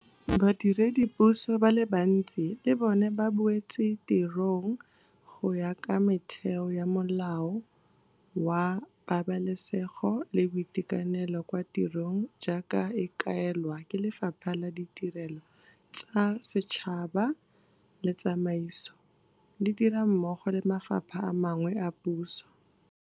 Badiredipuso ba le bantsi le bona ba boetse tirong go ya ka metheo ya Molao wa Pabalesego le Boitekanelo kwa Tirong jaaka e kaelwa ke Lefapha la Tirelo tsa Setšhaba le Tsamaiso, le dira mmogo le mafapha a mangwe a puso.